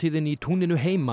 í túninu heima